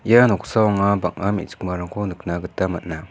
ia noksao anga bang·a me·chikmarangko nikna gita man·a.